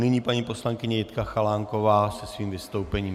Nyní paní poslankyně Jitka Chalánková se svým vystoupením.